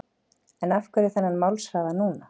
En af hverju þennan málshraða núna?